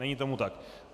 Není tomu tak.